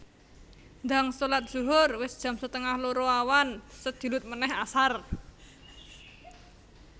Ndang solat zuhur wis jam setengah loro awan sedilut meneh asar